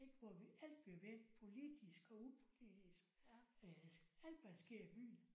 Ik hvor vi alt vi vil politisk og upolitisk øh alt hvad der sker i byen